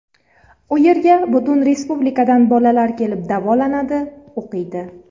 U yerga butun respublikadan bolalar kelib davolanadi, o‘qiydi.